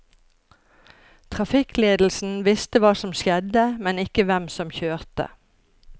Trafikkledelsen visste hva som skjedde, men ikke hvem som kjørte.